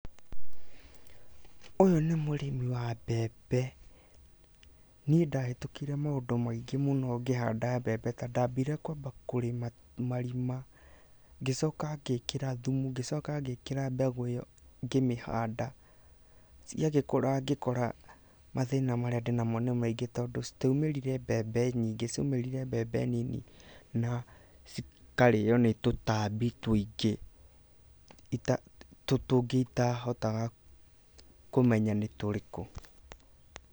Ũyũ nĩ mũrĩmi wa mbembe. Niĩ ndahĩtũkĩire maũndũ maingĩ mũno ngĩhanda mbembe ta; ndambire kwamba kũrĩma, ngĩcoka ngĩkĩra thumu, ngĩcoka ngĩkĩra mbegũ ĩo ngĩhanda, ciagĩkũra ngĩkora mathĩna marĩa ndĩ namo nĩ maingĩ tondũ citiaumĩrire mbembe nyingĩ tondũ cikarĩo nĩ tũtambi tũingĩ, tũngĩ itahotaga kũmenya nĩ tũrĩkũ.